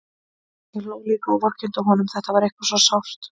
Ég hló líka og vorkenndi honum, þetta var eitthvað svo sárt.